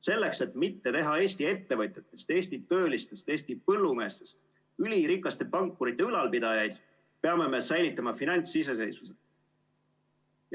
Selleks, et mitte teha Eesti ettevõtjatest, Eesti töölistest ja Eesti põllumeestest ülirikaste pankurite ülalpidajaid, peame me säilitama finantsiseseisvuse.